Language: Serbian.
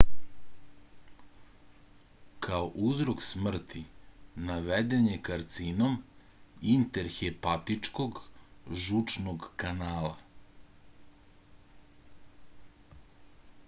kao uzrok smrti naveden je karcinom intrahepatičnog žučnog kanala